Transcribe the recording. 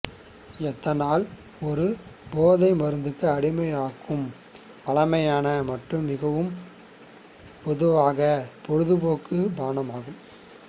ethanol ஒரு போதை மருந்துக்கு அடிமையாக்கும் பழமையான மற்றும் மிகவும் பொதுவான பொழுதுபோக்கு பானமாகும்